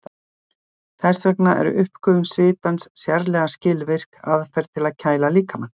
Þess vegna er uppgufun svitans sérlega skilvirk aðferð til að kæla líkamann.